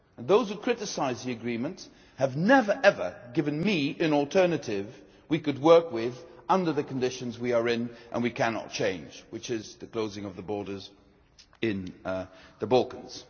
Those who criticise the agreement have never ever given me an alternative we could work with under the conditions we are in and cannot change, which is the closing of the borders in the Balkans.